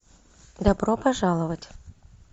добро пожаловать